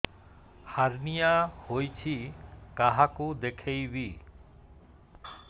hernia ହୋଇଛି କାହାକୁ ଦେଖେଇବି